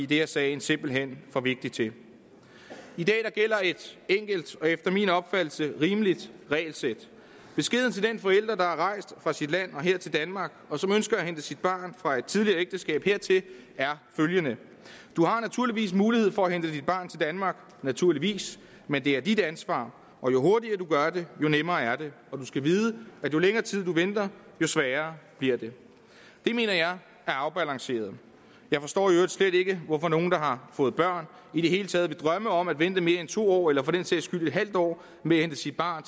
det er sagen simpelt hen for vigtig til i dag gælder der et enkelt og efter min opfattelse rimeligt regelsæt beskeden til den forælder der er rejst fra sit land og her til danmark og som ønsker at hente sit barn fra et tidligere ægteskab hertil er følgende du har naturligvis mulighed for at hente dit barn til danmark naturligvis men det er dit ansvar og jo hurtigere du gør det jo nemmere er det og du skal vide at jo længere tid du venter jo sværere bliver det det mener jeg er afbalanceret jeg forstår jo slet ikke hvorfor nogen der har fået børn i det hele taget vil drømme om at vente mere end to år eller for den sags skyld en halv år med at hente sit barn